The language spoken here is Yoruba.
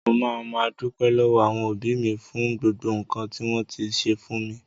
Mo ma máa dúpẹ lọwọ àwọn òbí mi fún gbogbo nkan ti wọn ti ṣe fún mi.